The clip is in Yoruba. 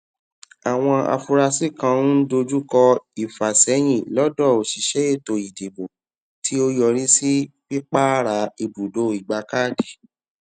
àwọn afurasí kan ń dojúkọ ìfàsẹyìn lọdọ òṣìṣẹ ètò ìdìbò tí ó yọrí sí pípààrà ìbùdó ìgbakáàdì